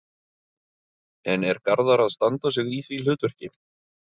En er Garðar að standa sig í því hlutverki?